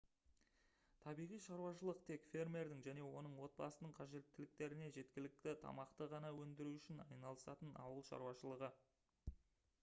табиғи шаруашылық тек фермердің және оның отбасының қажеттіліктеріне жеткілікті тамақты ғана өндіру үшін айналысатын ауыл шаруашылығы